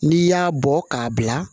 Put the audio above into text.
N'i y'a bɔ k'a bila